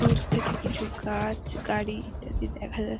দূর থেকে কিছু গাছ গাড়ি ইত্যাদি দেখা যাচ --